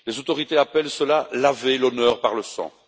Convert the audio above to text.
Les autorités appellent cela laver l'honneur par le sang.